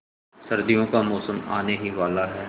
सर्दियों का मौसम आने ही वाला है